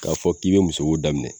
K'a fɔ k'i be musoko daminɛ